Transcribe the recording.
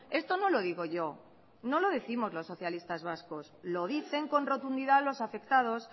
esto no lo digo yo no lo décimos los socialistas vascos lo dicen con rotundidad los afectados